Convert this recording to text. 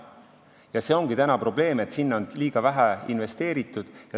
Ja see ongi praegu probleem, et sinna on liiga vähe investeeritud.